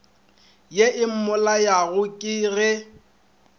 ye e mmolayago ka ge